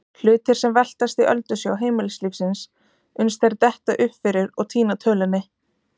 Hlutir sem veltast í öldusjó heimilislífsins uns þeir detta upp fyrir og týna tölunni.